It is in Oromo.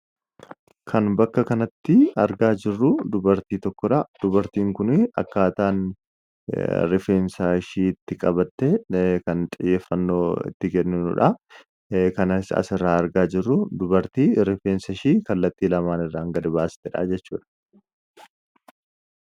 Kan bakka kanatti argaa jirru dubartii tokkodha. Dubartiin kuni akkaataan rifeensashii itti qabatte kan xiyyeeffannoo itti kennuudha. Kan sirraa argaa jirru dubartii rifeensashii kallattii lamaan irraan gad baastedha jechuudha.